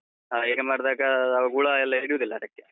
ಹಾ, ಹೀಗೆ ಮಾಡ್ದಾಗ ಹುಳ ಎಲ್ಲ ಹಿಡಿಯುವುದಿಲ್ಲ ಅದಕ್ಕೆ.